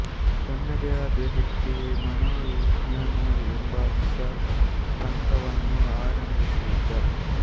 ತನ್ನದೇ ಆದ ವ್ಯಕ್ತಿ ಮನೋವಿಜ್ಞಾನ ಎಂಬ ಹೊಸ ಪಂಥವನ್ನು ಆರಂಭಿಸಿದ